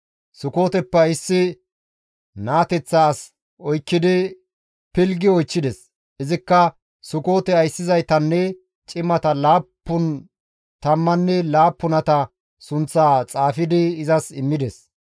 Sukooteppe issi naateththa as oykkidi pilggi oychchides; izikka Sukoote ayssizaytanne cimata laappun tammanne laappunata sunththaa xaafidi izas immides.